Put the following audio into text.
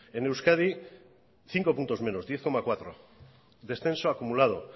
en euskadi cinco puntos menos diez coma cuatro descenso acumulado